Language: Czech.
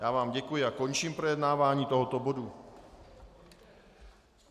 Já vám děkuji a končím projednávání tohoto bodu.